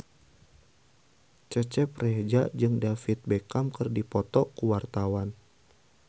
Cecep Reza jeung David Beckham keur dipoto ku wartawan